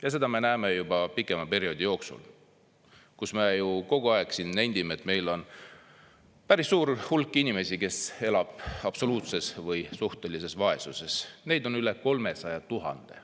" Ja seda me näeme juba pikema perioodi jooksul, kus me ju kogu aeg siin nendime, et meil on päris suur hulk inimesi, kes elab absoluutses või suhtelises vaesuses, neid on üle 300 000.